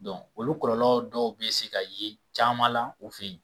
Dɔn olu kɔlɔlɔ dɔw be se ka ye caman la u fe yen